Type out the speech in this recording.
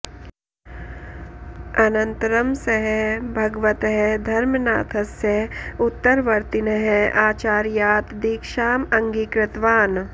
अनन्तरं सः भगवतः धर्मनाथस्य उत्तरवर्तिनः आचार्यात् दीक्षाम् अङ्गीकृतवान्